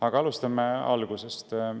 Aga alustame algusest.